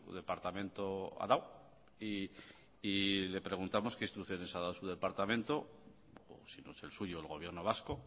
departamento ha dado y le preguntamos qué instrucciones ha dado a su departamento si no es el suyo el gobierno vasco